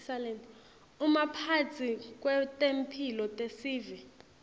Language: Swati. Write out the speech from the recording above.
umphatsi wetemphilo tesive